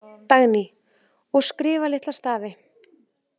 Dagný: Og skrifa litla stafi.